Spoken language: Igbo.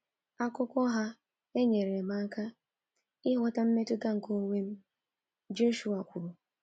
Akụkọ ha enyere m aka m aka ịghọta mmetụta nke onwe m, Joshua kwuru.